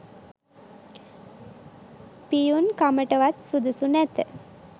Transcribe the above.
පියුන් කමටවත් සුදුසු නැත